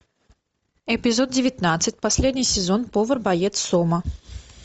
эпизод девятнадцать последний сезон повар боец сома